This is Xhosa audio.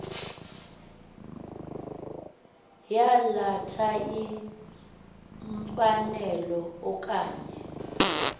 yalatha imfanelo okanye